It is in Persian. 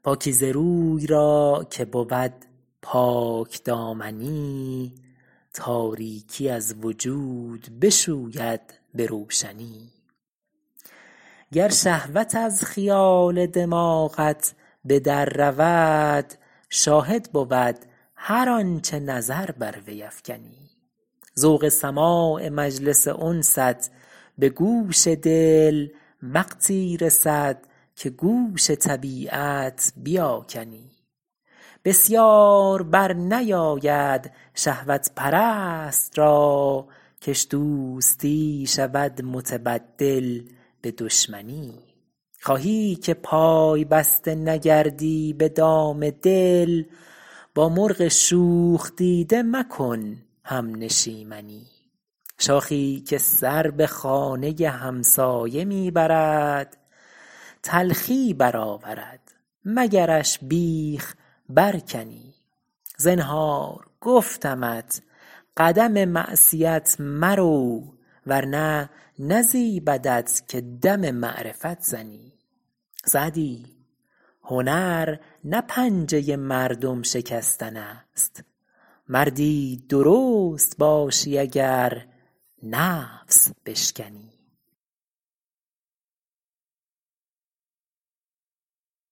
پاکیزه روی را که بود پاکدامنی تاریکی از وجود بشوید به روشنی گر شهوت از خیال دماغت به در رود شاهد بود هر آنچه نظر بر وی افکنی ذوق سماع مجلس انست به گوش دل وقتی رسد که گوش طبیعت بیاکنی بسیار بر نیاید شهوت پرست را کش دوستی شود متبدل به دشمنی خواهی که پای بسته نگردی به دام دل با مرغ شوخ دیده مکن همنشیمنی شاخی که سر به خانه همسایه می برد تلخی برآورد مگرش بیخ برکنی زنهار گفتمت قدم معصیت مرو ورنه نزیبدت که دم معرفت زنی سعدی هنر نه پنجه مردم شکستن است مردی درست باشی اگر نفس بشکنی